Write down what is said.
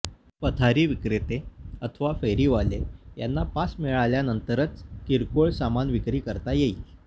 पथारी विक्रेते अथवा फेरीवाले यांना पास मिळाल्यानंतरच किरकोळ सामान विक्री करता येईल